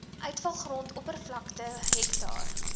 uitvalgrond oppervlakte hektaar